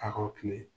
A kaw kile